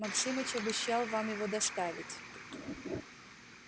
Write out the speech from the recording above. максимыч обещал вам его доставить